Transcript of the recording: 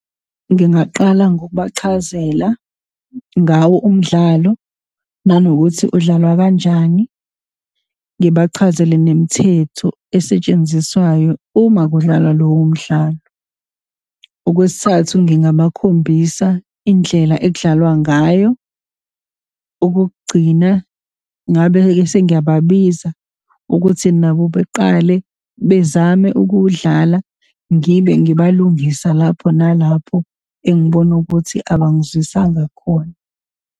Ngingaqala ngokubachazela ngawo umdlalo, nanokuthi udlalwa kanjani, ngibachazele nemithetho esetshenziswayo uma kudlalwa lowo mdlalo. Okwesithathu, ngingabakhombisa indlela ekudlalwa ngayo. Okokugcina, ngabe-ke sengiyababiza ukuthi nabo beqale bezame ukuwudlala, ngibe ngibalungisa lapho nalapho, engibona ukuthi abangizwisanga khona.